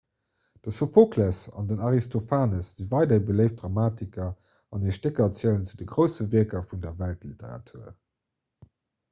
de sophokles an den aristophanes si weiderhi beléift dramatiker an hir stécker zielen zu de grousse wierker vun der weltliteratur